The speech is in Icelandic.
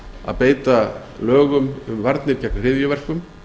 að beita lögum um varnir gegn hryðjuverkum